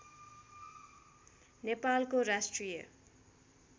नेपालको राष्ट्रिय